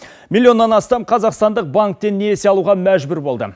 миллионнан астам қазақстандық банктен несие алуға мәжбүр болды